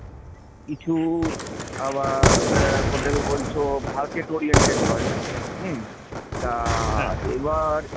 কিছু আবার হোটেল বলছো market oriented হয়, হুম তা এবার